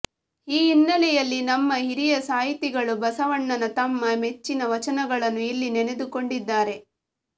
ಈ ಹಿನ್ನೆಲೆಯಲ್ಲಿ ನಮ್ಮ ಹಿರಿಯ ಸಾಹಿತಿಗಳು ಬಸವಣ್ಣನ ತಮ್ಮ ಮೆಚ್ಚಿನ ವಚನಗಳನ್ನು ಇಲ್ಲಿ ನೆನೆದುಕೊಂಡಿದ್ದಾರೆ